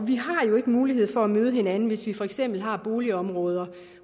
vi har jo ikke mulighed for at møde hinanden hvis vi for eksempel har boligområder